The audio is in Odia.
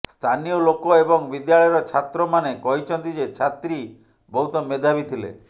ସ୍ଥାନୀୟ ଲୋକ ଏବଂ ବିଦ୍ୟାଳୟର ଛାତ୍ରମାନେ କହିଛନ୍ତି ଯେ ଛାତ୍ରୀ ବହୁତ ମେଧାବୀ ଥିଲେ